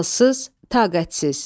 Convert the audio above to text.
Halsız, taqətsiz.